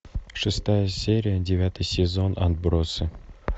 шестая серия девятый сезон отбросы